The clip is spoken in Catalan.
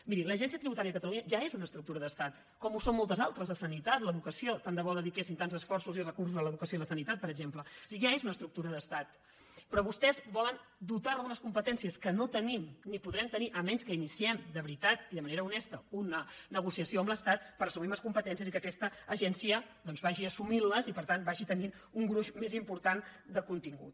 miri l’agència tributària de catalunya ja és una estructura d’estat com ho són moltes altres la sanitat l’educació tant de bo dediquessin tants esforços i recursos a l’educació i a la sanitat per exemple o sigui ja és una estructura d’estat però vostès es volen dotar d’unes competències que no tenim ni podrem tenir si no és que iniciem de veritat i de manera honesta una negociació amb l’estat per assumir més com petències i que aquesta agència vagi assumint les i per tant vagi tenint un gruix més important de contingut